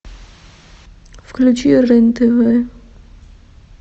включи рен тв